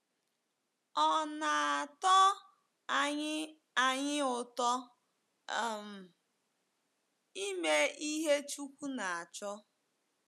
Ọ̀ na - atọ anyị anyị ụtọ um ime ihe Chukwu na-achọ?